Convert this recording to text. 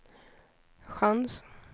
chans